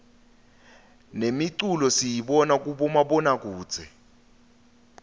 nemiculo siyibona kubomabonakudze